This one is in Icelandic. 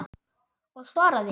Og svara því.